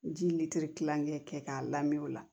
Ji kilancɛ kɛ k'a lamɛn o la